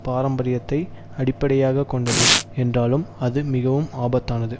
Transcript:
பாரம்பரியத்தை அடிப்படையாக கொண்டது என்றாலும் அது மிகவும் ஆபத்தானது